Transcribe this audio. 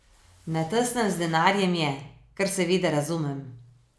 Na tesnem z denarjem je, kar seveda razumem.